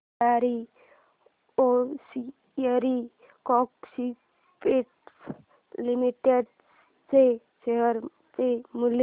Bhandari hosiery exports limited च्या share चे मूल्य